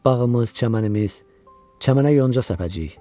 Bağımız, çəmənimiz, çəmənə yol salacağıq.